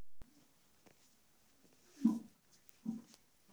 Ndũkage gũthiĩ thibitarĩ nĩguo ũgathuthurio mahinda kwa mahinda.